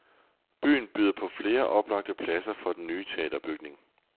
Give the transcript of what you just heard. Byen byder på flere oplagte pladser for den nye teaterbygning.